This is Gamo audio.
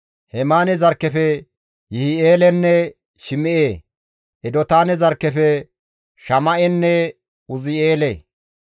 Hemaane zarkkefe Yihi7eelenne Shim7e. Edotaane zarkkefe Shama7enne Uzi7eele.